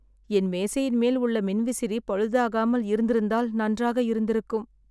என் மேசையின் மேல் உள்ள மின்விசிறி பழுதாகாமல் இருந்திருந்தால் நன்றாக இருந்திருக்கும்